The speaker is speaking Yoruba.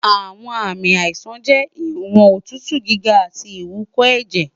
awọn aami aisan jẹ iwọn otutu giga ati iwúkọẹjẹ